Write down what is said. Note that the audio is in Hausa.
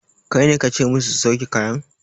Kaine kace musu su sauke kayan?